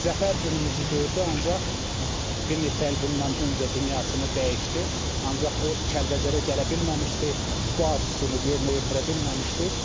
Zəfər günümüzü gördü, ancaq bir neçə il bundan öncə dünyasını dəyişdi, ancaq o Kəlbəcərə gələ bilməmişdi, bu arzusunu yerinə yetirə bilməmişdi.